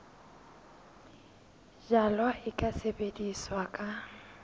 jalwa e ka sebetswa ka